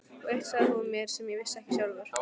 Og eitt sagði hún mér sem ég vissi ekki sjálfur.